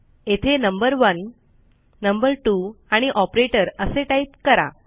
येथे number one number two आणि operator असे टाईप करा